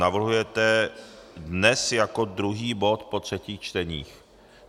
Navrhujete dnes jako druhý bod po třetích čteních.